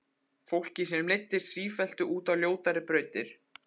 Fólki sem leiddist sífellt út á ljótari brautir.